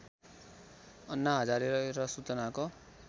अन्ना हजारे र सूचनाको